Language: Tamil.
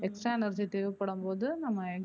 extra energy தேவைப்படும் போது நம்ம